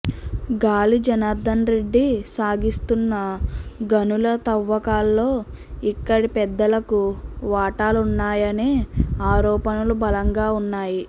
గాలి జనార్దనరెడ్డి సాగిస్తున్న గనుల తవ్వకాల్లో ఇక్కడి పెద్దలకు వాటాలున్నాయనే ఆరోపణలు బలంగా ఉన్నాయి